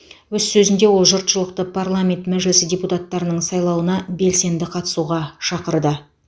өз сөзінде ол жұртшылықты парламент мәжілісі депутаттарының сайлауына белсенді қатысуға шақырды